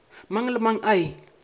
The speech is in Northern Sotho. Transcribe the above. mang le mang a e